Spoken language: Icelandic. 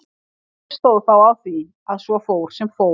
En hvernig stóð þá á því að svo fór sem fór?